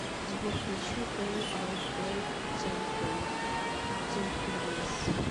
сбер включи фол аут бой центурис